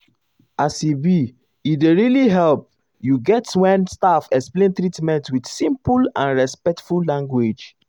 as e be e dey really help you get when staff explain treatment with simple and respectful language.